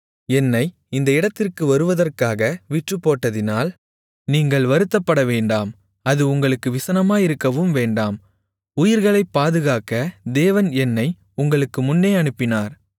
என்னை இந்த இடத்திற்கு வருவதற்காக விற்றுப்போட்டதினால் நீங்கள் வருத்தப்படவேண்டாம் அது உங்களுக்கு விசனமாயிருக்கவும் வேண்டாம் உயிர்களைப் பாதுகாக்க தேவன் என்னை உங்களுக்கு முன்னே அனுப்பினார்